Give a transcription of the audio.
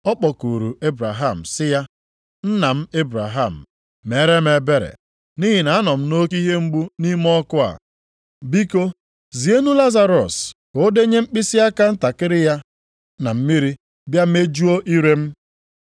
Ọ kpọkuru Ebraham sị ya, ‘Nna m Ebraham, meere m ebere nʼihi na anọ m nʼoke ihe mgbu nʼime ọkụ a. Biko zienụ Lazarọs ka ọ denye mkpịsịaka ntakịrị ya na mmiri bịa mejụọ ire m.’